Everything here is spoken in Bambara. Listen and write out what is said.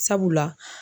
Sabula